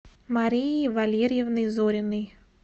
марией валерьевной зориной